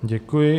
Děkuji.